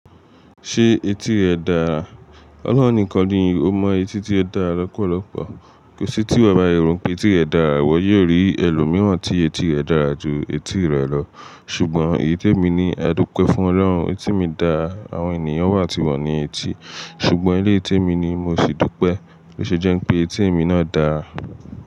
Ṣé etí rẹ dára? Ọlọ́run nìkan ni ó mọ etí tí ó dára lọ́pọ̀lọ́pọ̀. Kò sí tí iwọ́ bá yèro pé tí rẹ dára, wọ́n yóò rí ẹlòmíràn tí etí rẹ̀ dára ju etí rẹ lọ. Ṣùgbọ́n iyí tí èmi ní a dúpẹ́ fún Ọlọ́run, etí mi dára, àwọn ènìyàn wà tí wọ́n ní etí, ṣùgbọ́n eleyi tí èmi ni mo sì dúpẹ́. Ó ṣe jẹ́ pé etí mi náà dáa.